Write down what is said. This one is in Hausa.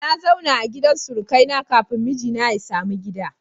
Na zauna a gidan surukai na kafin mijina ya samu gida